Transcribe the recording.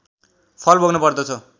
फल भोग्न पर्दछ